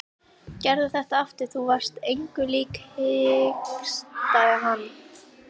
Gerðu þetta aftur, þú varst engu lík hikstaði hann.